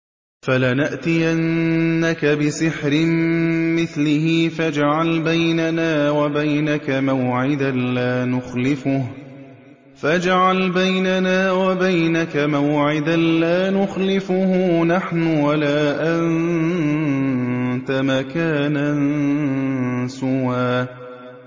فَلَنَأْتِيَنَّكَ بِسِحْرٍ مِّثْلِهِ فَاجْعَلْ بَيْنَنَا وَبَيْنَكَ مَوْعِدًا لَّا نُخْلِفُهُ نَحْنُ وَلَا أَنتَ مَكَانًا سُوًى